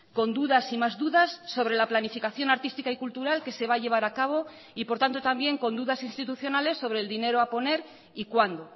con dudas y más dudas sobre la planificación artística y cultural que se va a llevar a cabo y por tanto también con dudas institucionales sobre el dinero a poner y cuándo